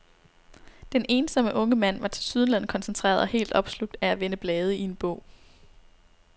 Den ensomme unge mand var tilsyneladende koncentreret og helt opslugt af at vende blade i en bog.